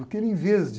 Porque ele, em vez de...